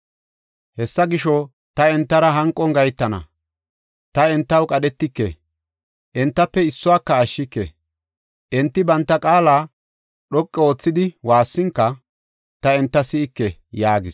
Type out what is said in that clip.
Hesaa gisho, ta entara hanqon gahetana; ta entaw qadhetike; entafe issuwaka ashshike. Enti banta qaala dhoqa oothidi waassinka, ta enta si7ike” yaagis.